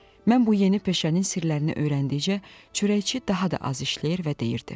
Mən bu yeni peşənin sirlərini öyrəndikcə çörəkçi daha da az işləyir və deyirdi: